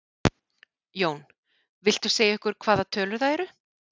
Jón: Viltu segja okkur hvaða tölur það eru?